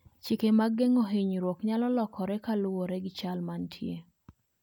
Chike mag geng'o hinyruok nyalo lokore kaluwore gi chal mantie.